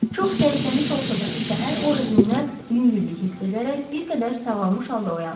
Çox zəifləmiş olsa da, səhər o özünə yüngüllük hiss edərək bir qədər sağalmış halda oyandı.